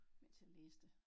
Mens jeg læste